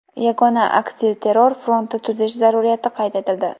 Yagona aksilterror fronti tuzish zaruriyati qayd etildi.